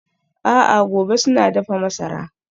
A'a gobe suna dafa masara.